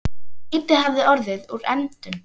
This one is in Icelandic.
En lítið hafði orðið úr efndum.